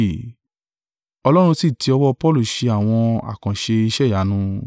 Ọlọ́run sì tí ọwọ́ Paulu ṣe àwọn àkànṣe iṣẹ́ ìyanu,